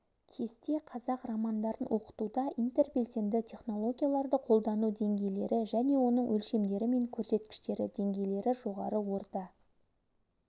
кесте қазақ романдарын оқытуда интербелсенді технологияларды қолдану деңгейлері және оның өлшемдері мен көрсеткіштері деңгейлері жоғары орта